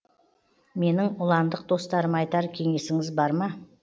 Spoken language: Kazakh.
менің ұландық достарыма айтар кеңесіңіз бар ма